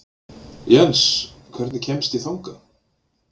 Jens, hvernig kemst ég þangað?